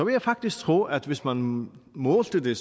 jeg faktisk tro at hvis man målte det